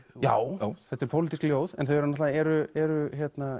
já þetta eru pólitísk ljóð en þau náttúrulega eru eru